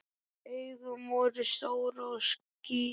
Augun voru stór og skýr.